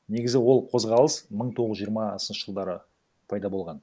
негізі ол қозғалыс мың тоғыз жүз жиырмасыншы жылдары пайда болған